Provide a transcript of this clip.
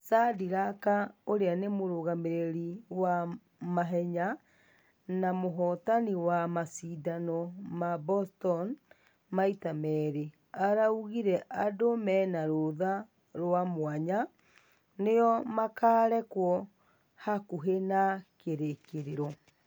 Shadrack ũria ni mũragamĩrĩri wa mahenya na mũhotani wa mashidano ma boston maita merĩ , araugire andũ mena rũtha rwa mwanya nĩo makarekwo hakuhe na kĩrĩkirĩro.